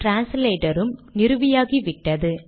translator உம் நிறுவியாகிவிட்டது